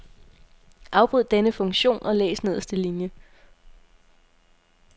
Afbryd denne funktion og læs nederste linie.